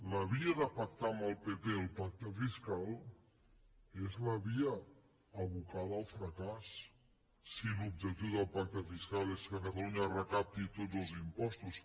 la via de pactar amb el pp el pacte fiscal és la via abocada al fracàs si l’objectiu del pacte fiscal és que catalunya recapti tots els impostos